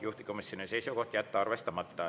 Juhtivkomisjoni seisukoht on jätta see arvestamata.